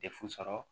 Defu sɔrɔ